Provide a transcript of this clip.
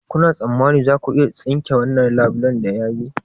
Kuna tsammanin za ku iya tsinke wannan labulen da ya yage?